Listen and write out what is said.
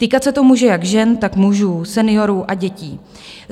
Týkat se to může jak žen, tak mužů, seniorů a dětí.